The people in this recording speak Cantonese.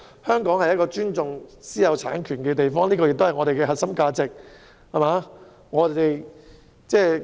香港向來尊重私有產權，而這亦是我們的核心價值。